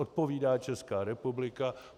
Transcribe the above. Odpovídá Česká republika.